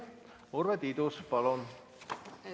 Urve Tiidus, palun!